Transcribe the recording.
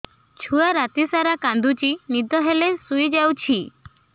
ଛୁଆ ରାତି ସାରା କାନ୍ଦୁଚି ଦିନ ହେଲେ ଶୁଇଯାଉଛି